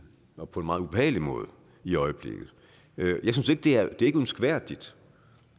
og på en meget ubehagelig måde i øjeblikket det er ikke ønskværdigt